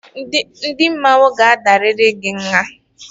Ndị mmọnwụ ga-adarịrị gị nha!